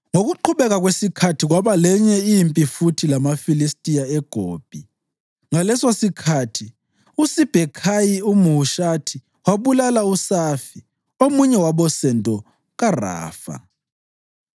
Ngokuqhubeka kwesikhathi kwaba lenye impi futhi lamaFilistiya, eGobi. Ngalesosikhathi uSibhekhayi umHushathi wabulala uSafi, omunye wabosendo kaRafa.